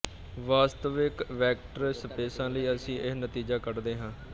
ਵਾਸਤਵਿਕ ਵੈਕਟਰ ਸਪੇਸਾਂ ਲਈ ਅਸੀਂ ਇਹ ਨਤੀਜਾ ਕੱਢਦੇ ਹਾਂ